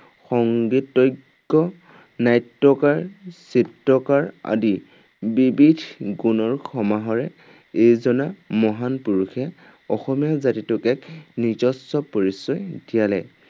সংগীতজ্ঞ, নাট্যকাৰ, চিত্ৰকাৰ আদি বিবিধ গুণৰ সমাহাৰে এইজনা মহান পুৰুষে অসমীয়া জাতিটোক এক নিজস্ব পৰিচয় দিয়ালে।